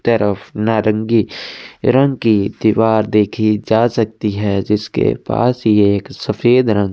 तरफ नारंगी रंग की दीवार देखि जा सकती है जिसके पास ये एक सफ़ेद रंग --